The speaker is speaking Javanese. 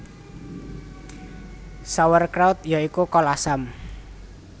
Sauerkraut ya iku kol asam